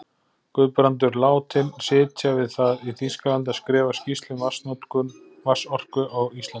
Guðbrandur látinn sitja við það í Þýskalandi að skrifa skýrslu um vatnsorku á Íslandi.